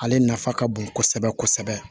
Ale nafa ka bon kosɛbɛ kosɛbɛ